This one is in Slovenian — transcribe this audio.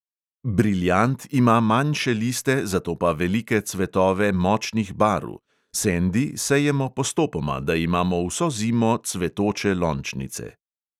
Briljant" ima manjše liste, zato pa velike cvetove močnih barv; "sendi" sejemo postopoma, da imamo vso zimo cvetoče lončnice.